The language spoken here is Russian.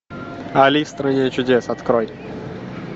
али в стране чудес открой